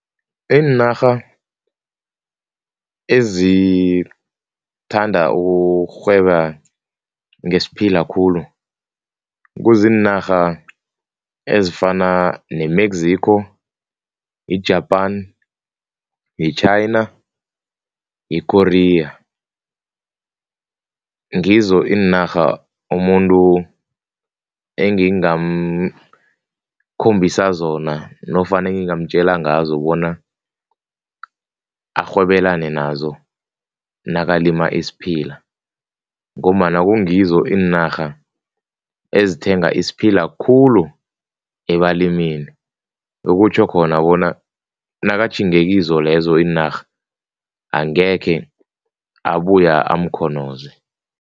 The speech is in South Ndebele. Iinarha ezithanda ukurhweba ngesiphila khulu kuziinarha ezifana ne-Mexico, i-Japan, yi-China, yi-Korea, ngizo iinarha umuntu engingamkhombisa zona nofana engingamtjela ngazo bona arhwebelane nazo nakalima isiphila ngombana kungizo iinarha ezithenga isiphila khulu ebalimini, okutjho khona bona nakatjhinge kizo lezo iinarha, angekhe abuya amkhonoze.